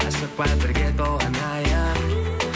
асықпа бірге тол анайық